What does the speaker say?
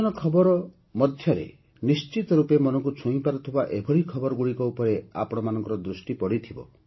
ନିର୍ବାଚନ ଖବର ମଧ୍ୟରେ ନିଶ୍ଚିତ ରୂପେ ମନକୁ ଛୁଇଁପାରୁଥିବା ଏଭଳି ଖବରଗୁଡ଼ିକ ଉପରେ ଆପଣମାନଙ୍କ ଦୃଷ୍ଟି ପଡ଼ିଥିବ